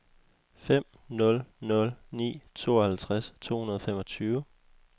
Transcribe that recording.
fem nul nul ni tooghalvtreds to hundrede og femogtyve